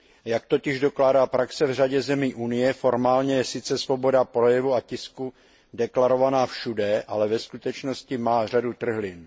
Jak totiž dokládá praxe v řadě zemí Unie, formálně je sice svoboda projevu a tisku deklarovaná všude, ale ve skutečnosti má řadu trhlin.